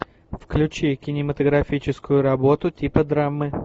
включи кинематографическую работу типа драмы